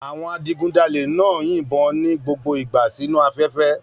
Àwọn adigunjalè náà ń yìnbọn ní gbogbo ìgbà sínu afẹ́fẹ́